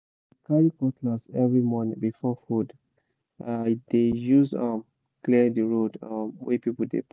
i dey carry cutlass every morning before food—i dey use am clear the road um wey people dey pass